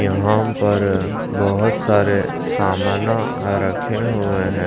यहां पर बहुत सारे सामना रखे हुए हैं।